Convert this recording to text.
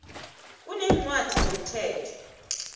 kuneencwadi zomthetho